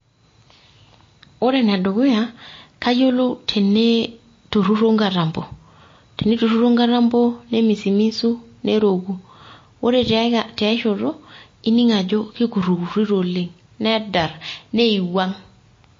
Ore ene dukuya kayiolou teneiturruro nkatampo, teneiturruro nkatampo nemisimisu neroku ore tei tia shoto ining ajo keikurrikurrito oleng. nedar neiwuang.